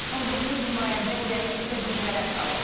19 nümayəndə heyəti isə bitərəf qalıb.